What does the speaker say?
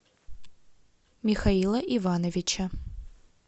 михаила ивановича